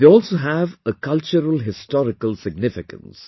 They also have a culturalhistorical significance